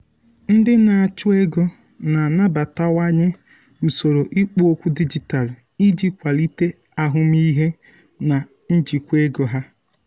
ndị na-achụ ego na-anabatawanye usoro ikpo okwu dijitalụ iji kwalite ahụmịhe na njikwa ego ha.